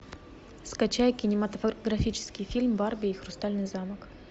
скачай кинематографический фильм барби и хрустальный замок